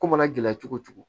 Ko mana gɛlɛ cogo cogo